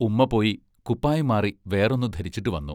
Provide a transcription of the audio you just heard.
ഉമ്മാ പോയി കുപ്പായം മാറി വേറൊന്നു ധരിച്ചിട്ടു വന്നു.